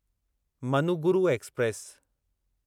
Manuguru express